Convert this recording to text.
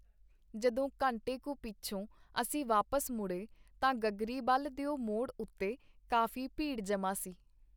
ਜਦੋਂ ਘੰਟੇ ਕੁ ਪਿਛੋਂ ਅਸੀਂ ਵਾਪਸ ਮੁੜੇ, ਤਾਂ ਗਗਰੀਬਲ ਦਿਓ ਮੋੜ ਉਤੇ ਕਾਫੀ ਭੀੜ ਜਮ੍ਹਾਂ ਸੀ.